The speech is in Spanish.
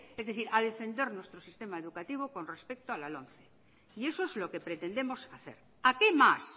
es decir a defender nuestro sistema educativo con respecto a la lomce y eso es lo que pretendemos hacer a qué más